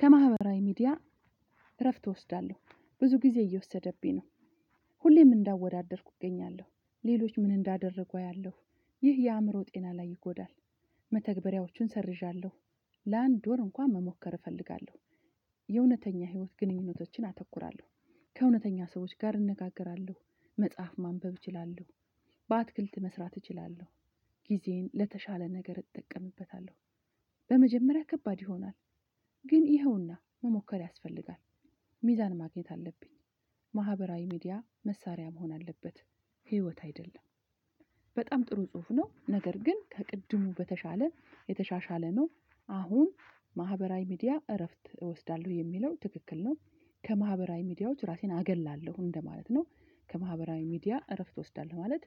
ከማህበራዊ ሚዲያ እረፍት እወስዳለሁ ብዙ ጊዜ እየወሰደብኝ ነው። ሁሌም እንዳወዳደርኩ እገኛለሁ ሌሎች ምን እንዳደረጉ አያለሁ ይህ የአእምሮ ጤና ላይ ይጎዳል። መተግበሪያዎቹን ሰርዣለሁ። ለአንድ ወር እንኳን መሞከር እፈልጋለሁ። የእውነተኛ ህይወት ግንኙነቶችን አተኩራለሁ። ከእውነተኛ ሰዎች ጋር እንነጋገራለሁ መጽሐፍ ማንበብ እችላለሁ። በአትክልት መስራት እችላለሁ። ጊዜን ለተሻለ ነገር እጠቀምበታለሁ። በመጀመሪያ ከባድ ይሆናል። ግን ይኸውና መሞከር ያስፈልጋል። ሚዛን ማግኘት አለብኝ። ማህበራዊ ሚዲያ መሳሪያ መሆን አለበት ህይወት አይደለም። በጣም ጥሩ ጽሁፍ ነው ነገር ግን ከቅድሙ በተሻለ የተሻሻለ ነው። አሁን ማህበራዊ ሚዲያ እረፍት እወስዳለሁ የሚለው ትክክል ነው። ከማህበራዊ ሚዲያዎች ራሴን አገላለሁ እንደማለት ነው። ከማህበራዊ ሚዲያ እረፍት እወስዳለሁ ማለት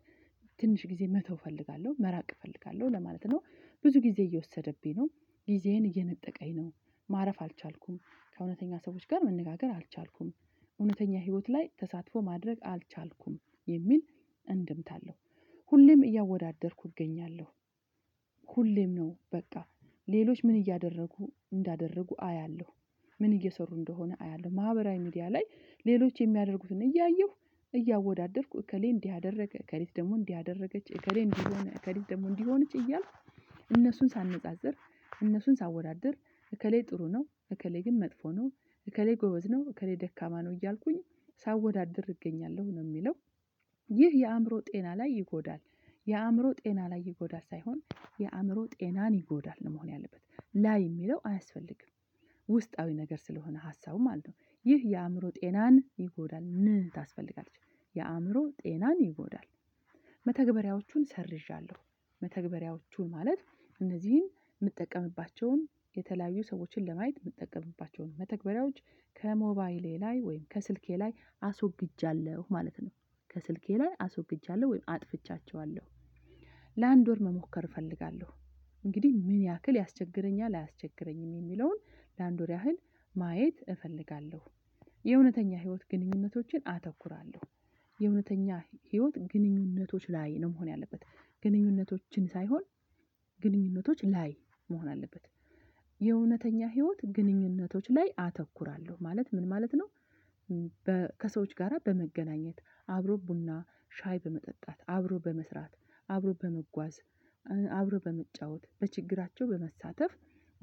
ትንሽ ጊዜ መተው እፈልጋለሁ መራቅ እፈልጋለሁ ለማለት ነው። ብዙ ጊዜ እየወሰደብኝ ነው። ጊዜየን እየነጠቀኝ ነው። ማረፍ አልቻልኩም ከእውነተኛ ሰዎች ጋር መነጋገር አልቻልኩም እውነተኛ ህይወት ላይ ተሳትፎ ማድረግ አልቻልኩም የሚል እንደምታ አለው። ሁሌም እያወዳደርኩ እገኛለሁ። ሁሌም ነው በቃ ሌሎች ምን እያደረጉ እንዳደረጉ አያለሁ። ምን እየሰሩ እንደሆነ አያለሁ ማህበራዊ ሚዲያ ላይ ሌሎች የሚያደርጉትን እያየሁ እያወዳደርኩ እከሌ እንዲህ አደረገ እከሌት ደግሞ እንዲህ አደረገች እከሌ እንዲህ ሆነ እከሊት ደግሞ እንዲሆንች እያልኩ እነሱን ሳነጻጽር እነሱን ሳወዳድር እከሌ ጥሩ ነው እከሌ ግን መጥፎ ነው። እከሌ ጎበዝ ነው እከሌ ደካማ ነው እያልኩኝ ሳወዳድር እገኛለሁ ነው የሚለው። ይህ የአእምሮ ጤና ላይ ይጎዳል። የአእምሮ ጤና ላይ ይጎዳል ሳይሆን የአእምሮ ጤናን ይጎዳል ነው መሆን ያለበት ላይ የሚለው አያስፈልግም። ውስጣዊ ነገር ስለሆነ ሀሳቡ ማለት ነው። ይህ የአእምሮ ጤናን ይጎዳል ምን ታስፈልጋለች? የአእምሮ ጤናን ይጎዳል። መተግበሪያዎቹን ሰርዣለሁ። መተግበሪያዎቹን ማለት እነዚህን የምጠቀምባቸውን የተለያዩ ሰዎችን ለማየት የምጠቀምባቸውን መተግበሪያዎች ከሞባይሌ ላይ ወይም ከስልኬ ላይ አስወግጃለሁ ማለት ነው። ከስልኬ ላይ አስወግጃለሁ ወይም አጥፍቻቸዋለሁ። ለአንድ ወር መሞከር እፈልጋለሁ እንግዲህ ምን ያክል ያስቸግረኛል አያስቸግረኝም የሚለውን ለ አንድ ወር ያህል ማየት እፈልጋለሁ። የእውነተኛ ህይወት ግንኙነቶችን አተኩራለሁ የእውነተኛ ህይወት ግንኙነቶች ላይ ነው መሆን ያለበት ግንኙነቶችን ሳይሆን ግንኙነቶች ላይ መሆን አለበት። የእውነተኛ ህይወት ግንኙነቶች ላይ አተኩራለሁ ማለት ምን ማለት ነው? ከሰዎች ጋራ በመገናኘት አብሮ ቡና ሻይ በመጠጣት አብሮ በመስራት አብሮ በመጓዝ አብሮ በመጫወት በችግራቸው በመሳተፍ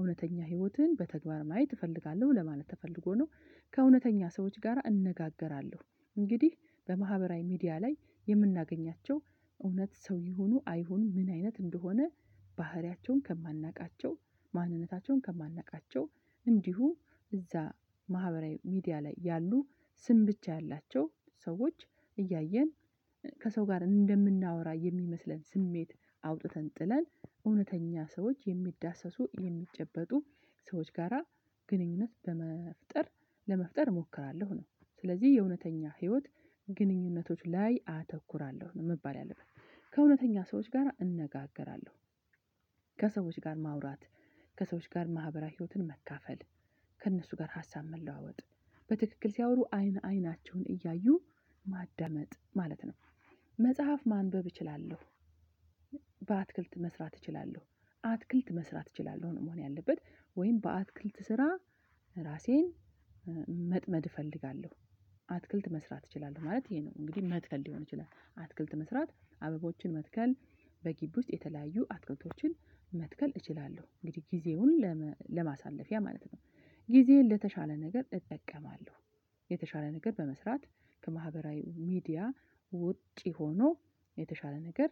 እውነተኛ ህይወትን በተግባር ማየት እፈልጋለሁ ለማለት ተፈልጎ ነው። ከእውነተኛ ሰዎች ጋራ እነጋገራለሁ እንግዲህ በማህበራዊ ሚዲያ ላይ የምናገኛቸው እውነት ሰው ይሁኑ አይሁኑ ምን አይነት እንደሆነ? ባህሪያቸውን ከማናውቃቸው ማንነታቸውን ከማናውቃቸው እንዲሁ እዛ ማህበራዊ ሚዲያ ላይ ያሉ ስም ብቻ ያላቸው ሰዎች እያየን ከሰው ጋር እንደምናወራ የሚመስለን ስሜት አውጥተን ጥለን እውነተኛ ሰዎች የሚዳሰሱ የሚጨበጡ ሰዎች ጋራ ግንኙነት በመፍጠር ለመፍጠር እሞክራለሁ ነው። ስለዚህ የእውነተኛ ህይወት ግንኙነቶች ላይ አተኩራለሁ ነው መባል ያለበት ከእውነተኛ ሰዎች ጋራ እነጋገራለሁ። ከሰዎች ጋር ማውራት ከሰዎች ጋር ማህበራዊ ህይወትን መካፈል ከእነሱ ጋር ሀሳብ መለዋወጥ በትክክል ሲያወሩ አይን አይናቸውን እያዩ ማዳመጥ ማለት ነው። መጽሐፍ ማንበብ እችላለሁ። በአትክልት መስራት እችላለሁ። አትክልት መስራት እችላለሁ ነው መሆን ያለበት ወይም በአትክልት ስራ ራሴን መጥመድ እፈልጋለሁ። አትክልት መስራት እችላለሁ ማለት ይሄ ነው እንግዲህ መትከል ሊሆን ይችላል አትክልት መስራት አበቦችን መትከል በግቢ ውስጥ የተለያዩ አትክልቶችን መትከል እችላለሁ እንግዲህ ጊዜውን ለማሳለፊያ ማለት ነው። ጊዜየን ለተሻለ ነገር እጠቀማለሁ የተሻለ ነገር በመስራት ከማህበራዊ ሚዲያ ውጪ ሆኖ የተሻለ ነገር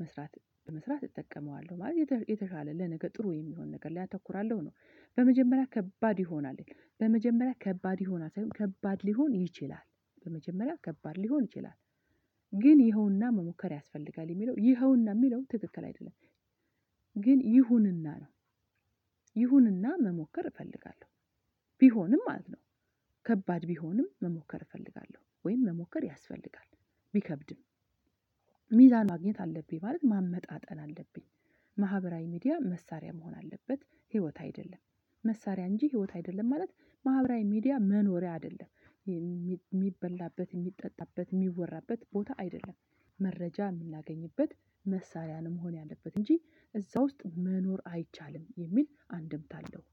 መስራት በመስራት እጠቀመዋለሁ ማለት የተሻለ ለነገ ጥሩ የሚሆን ነገር ላይ አተኩራለሁ ነው። በመጀመሪያ ከባድ ይሆናል። በመጀመሪያ ከባድ ይሆናል ሳይሆን ከባድ ሊሆን ይችላል በመጀመሪያ ከባድ ሊሆን ይችላል። ግን ይኸውና መሞከር ያስፈልጋል የሚለው ይኸውና የሚለው ትክክል አይደለም። ግን ይሁንና ነው። ይሁንና መሞከር እፈልጋለሁ። ቢሆንም ማለት ነው። ከባድ ቢሆንም መሞከር እፈልጋለሁ ወይም መሞከር ያስፈልጋል። ቢከብድም ሚዛን ማግኘት አለብኝ ማለት ማመጣጠን አለብኝ። ማህበራዊ ሚዲያ መሳሪያ መሆን አለበት ህይወት አይደለም። መሳሪያ እንጂ ህይወት አይደለም ማለት ማህበራዊ ሚዲያ መኖሪያ አይደለም። የሚበላበት የሚጠጣበት የሚወራበት ቦታ አይደለም። መረጃ የምናገኝበት መሳሪያ ነው መሆን ያለበት እንጂ እዛ ውስጥ መኖር አይቻልም የሚል አንድምታ አለው።